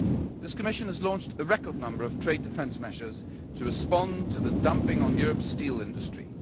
This Commission has launched a record number of trade defence measures to respond to the dumping on Europe's steel industry.